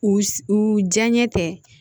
U u diyaɲɛ tɛ